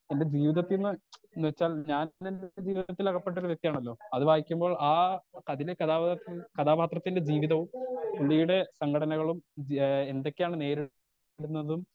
സ്വന്തം ജീവിതത്തീന്ന് ന്ന്വെച്ചാൽ ഞാൻ ജീവിതത്തിൽ അകപ്പെട്ടൊരു വെക്തിയാണാലോ അത് വായിക്കുമ്പോൾ ആ അതിലെ കഥാപത്രം കഥാപത്രത്തിന്റെ ജീവിതവും പുളീടെ സഘടനകളും ധ്യേഹ് എന്തൊക്കെയാണ് നേരി പെടുന്നതും